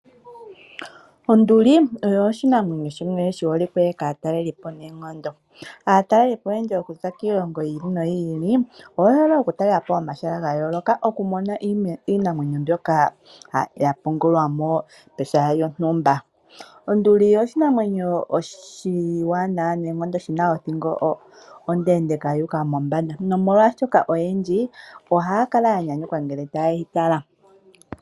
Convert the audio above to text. Onduli oyo oshinamwenyo shimwe shi holike kaataleli po noonkondo. Aataleli po okuza kiilongo yi ili noyi ili oye hole oku talela po omahala ga yooloka, opo ya mone iinamwenyo mbyoka ya pungulwa mo pehala lyontumba. Onduli oshinamwenyo oshiwanawa noonkondo shina othingo ondendeeka yuuka mothingo, nomolwaashoka oyendji ohaya kala ya nyanyukwa ngele taye yi tala.